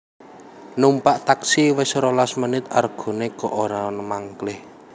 Numpak taksi wes rolas menit argone kok ora mangklih